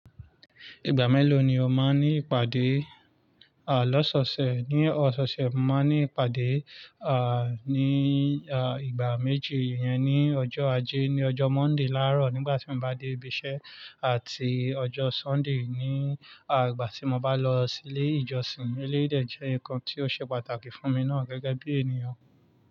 Ìgbà mélòó ni o máa ń ní ìpàdé? Loọ́sọ́ṣẹ̀, ní ọsọ́ọ̀ṣẹ̀, mo máa ń ní ìpàdé, ní, ìgbà méjì. Yẹn ni ọjọ́ ajé, ní ọjọ́ Monday láàárọ̀ nígbà tí mo bá dé ibi iṣẹ́ àti ọjọ́ Sunday ní ìgbà tí mo bá lọ sí ilé ìjọsìn. Éléyì dè jẹ́ nǹkan tí ó ṣe pàtàkì fún mi ná gẹ́gẹ́ bí ènìyàn.